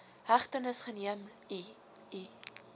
hegtenis geneem ii